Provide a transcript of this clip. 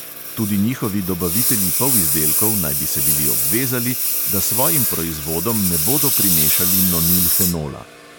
Tudi njihovi dobavitelji polizdelkov naj bi se bili obvezali, da svojim proizvodom ne bodo primešali nonilfenola.